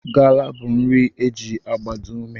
Gala bụ nri e ji agbado ume